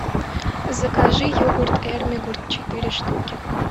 закажи йогурт эрмигурт четыре штуки